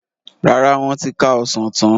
Rárá, wọn ti ká Ọsàn tán.